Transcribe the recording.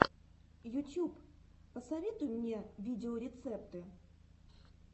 ютьюб посоветуй мне видеорецепты